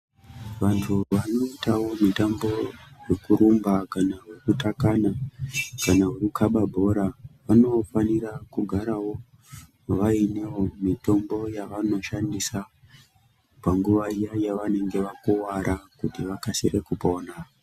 Vantu vanoitawo mitambo yekurumba kana wekutakana kana wekukaba bhora vanofanira kugarawo vainewo mitombo yavanoshandisa panguva iya yavanenge vakuwara kuti vakasire kupona.